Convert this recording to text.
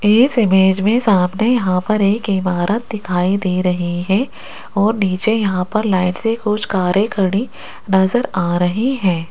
इस इमेज में सामने यहां पर एक इमारत दिखाई दे रही हैं और नीचे यहां पर लाईन से कुछ करें खड़ी नजर आ रही हैं।